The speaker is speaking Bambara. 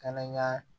Kana n ka